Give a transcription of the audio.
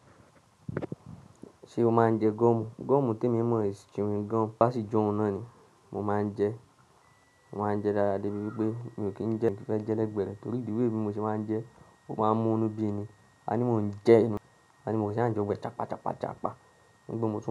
Ṣé o máa ń jẹ gọ́mù? Gọ́mù te mi mọ̀ is, chewing gum, ba si j'oun náà ni. Mo máa ń jẹ, mo máa ń jẹ dáadáa débi wípé mi ò kí ń jẹ, mo fi fẹ́ jẹ lẹ́gbẹ̀ẹ́ rẹ, torí the way bi mo ṣe máa ń jẹ ó máa ń mú nú bí ni. Àní mo ń jẹ ẹnu, àní mo ṣa n jẹ gbó gbo ẹ chapá chapá chapá. Ni pe mo tun.